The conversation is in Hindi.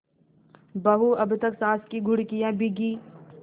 बहू अब तक सास की घुड़कियॉँ भीगी